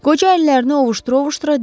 Qoca əllərini ovuşdura-ovuşdura dedi: